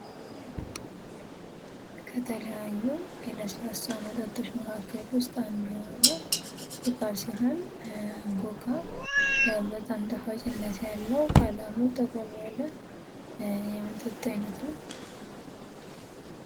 ከተለያዩ የስላሳ መጠጦች መካከል ውስጥ አንዱ የሆነው ኮካ ሲሆን, ኮካ በጣም ጣፋጭነት ያለው ቀለሙ ጠቆር ያለ የመጠጥ አይነት ነው።